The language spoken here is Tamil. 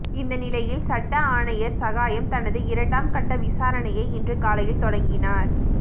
இந்த நிலையில் சட்ட ஆணையர் சகாயம் தனது இரண்டாம் கட்ட விசாரணையை இன்று காலையில் தொடங்கினார்